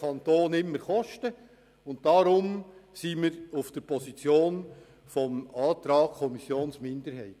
Deshalb stehen wir hinter der Position der Kommissionsminderheit.